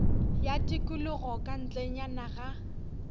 ya tikologo ka ntlenyana ga